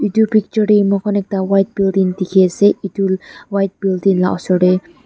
etu picture de mukan ekta white building diki ase etu white building la osor de.